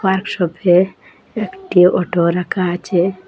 ওয়ার্কশপে একটি অটো রাকা আছে।